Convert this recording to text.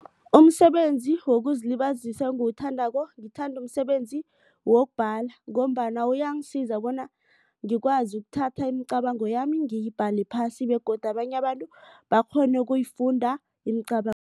Umsebenzi wokuzilibazisa engiwuthandako ngithanda umsebenzi wokubhala. Ngombana uyangisiza bona ngikwazi ukuthatha imicabango yami ngiyibhale phasi begodu abanye abantu bakghone ukuyifunda